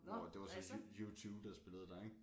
Hvor at det var så U2 der spillede der ik